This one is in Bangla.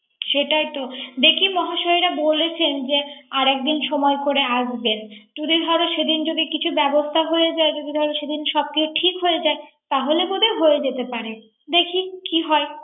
সেটাই তো দেখি মহাশয়রা বলেছেন। আর একদিন সময় করে আসবেন। সেদিন কোন কিছু ব্যাবস্থা হয়ে যায়। যদি ধর সব কিছু ঠিক হয়ে যায়। তাহলে বোধ হয়ে যেতে পারে। দেখি কি হয়।